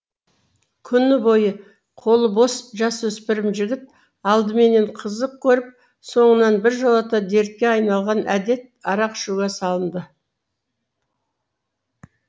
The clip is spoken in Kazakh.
күні бойы қолы бос жасөспірім жігіт алдыменен қызық көріп соңынан біржолата дертке айналған әдет арақ ішуге салынды